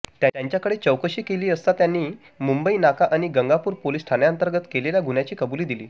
त्यांच्याकडे चौत्तकशी केली असता त्यांनी मुंबईनाका आणि गंगापूर पोलीस ठाण्यांतर्गत केलेल्या गुह्यांची कबुली दिली